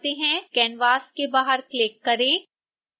canvas के बाहर click करें